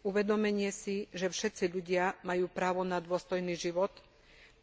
Uvedomenie si, že všetci ľudia majú právo na dôstojný život,